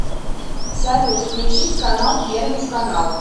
салют включить канал первый канал